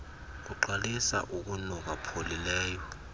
kuqalisa ukunuka pholileleyo